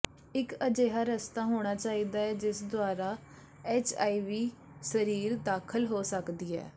ਇੱਕ ਅਜਿਹਾ ਰਸਤਾ ਹੋਣਾ ਚਾਹੀਦਾ ਹੈ ਜਿਸ ਦੁਆਰਾ ਐੱਚਆਈਵੀ ਸਰੀਰ ਵਿੱਚ ਦਾਖ਼ਲ ਹੋ ਸਕਦੀ ਹੈ